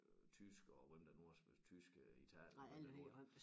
Øh tyskere hvem der nu har tyske Italien hvem det nu er